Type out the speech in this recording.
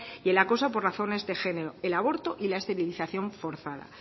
y el acoso por razones de género el aborto y la esterilización forzada